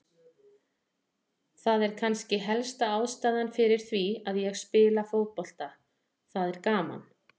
Það er kannski helsta ástæðan fyrir því að ég spila fótbolta, það er gaman.